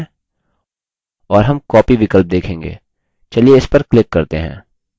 और हम copy विकल्प देखेंगे इस पर click करते हैं;